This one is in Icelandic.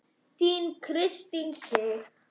Þín Kristín Sig.